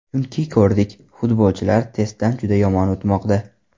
Chunki ko‘rdik, futbolchilar testdan juda yomon o‘tmoqda.